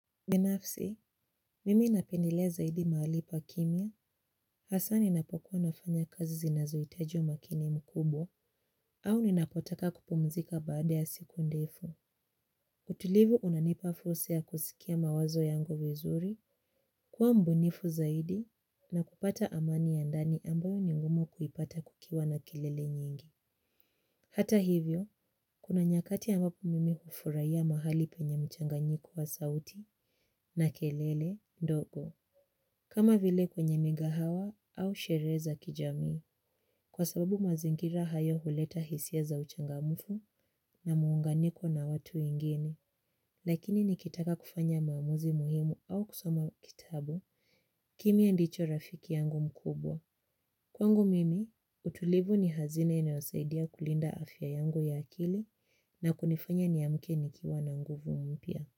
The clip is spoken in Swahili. Binafsi, mimi napendelea zaidi mahali pa kimia, hasaa ninapokuwa nafanya kazi zinazohitaji umakini mkubwa, au ninapotaka kupumzika baada ya siku ndefu. Utulivu unanipa fursa ya kusikia mawazo yangu vizuri, kuwa mbunifu zaidi, na kupata amani ya ndani ambayo ni ngumu kuipata kukiwa na kelele nyingi. Hata hivyo, kuna nyakati ambapo mimi hufurahiya mahali penye mchanganyiko wa sauti na kelele, ndogo. Kama vile kwenye mighawa au sherehe za kijamii. Kwa sababu mazingira hayo huleta hisia za uchangamfu na muunganiko na watu wengine. Lakini nikitaka kufanya maamuzi muhimu au kusoma kitabu, kimya ndicho rafiki yangu mkubwa. Kwangu mimi, utulivu ni hazina inayo saidia kulinda afya yangu ya akili na kunifanya niamke ni kiwa na nguvu mpya.